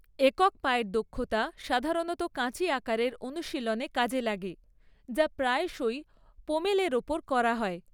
একক পায়ের দক্ষতা সাধারণত কাঁচি আকারের অনুশীলনে কাজে লাগে, যা প্রায়শই পোমেলের ওপর করা হয়।